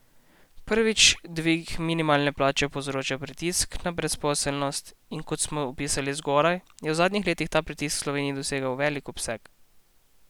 Prvič, dvig minimalne plače povzroča pritisk na brezposelnost, in kot smo opisali zgoraj, je v zadnjih letih ta pritisk v Sloveniji dosegel velik obseg.